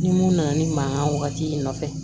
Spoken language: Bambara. Ni mun nana ni mankan wagati nɔfɛ